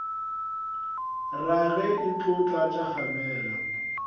rage e tlo tlatša kgamelo